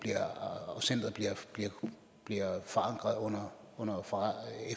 og centret bliver forankret under